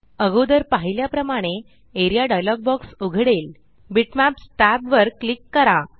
अगोदर पाहिल्या प्रमाणे एआरईए डायलॉग बॉक्स उघडेल बिटमॅप्स tab वर क्लिक करा